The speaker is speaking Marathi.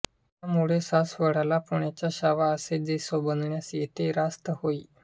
त्यामुळे सासवडला पुण्याचा छावा असे जे संबोधण्यास येते रास्त होय